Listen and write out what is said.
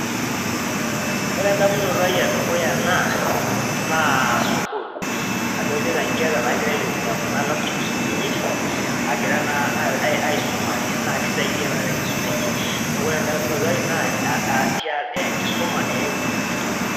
Ore endamunoto ai edukuya naa naa sukul adolita nkera nagira aitumia kuna laptops kunini agira naa aisumare naa kisaidia naa tenkisuma enye , niaku ore endamunoto ai naa enkisuma eimu